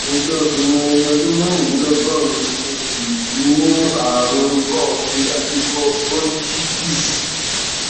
mo jẹ obìnrin ẹni ọdún mẹrìnlélọgọrin mo sì tí ní àrùn ikọọfe àti ikọ bronchitis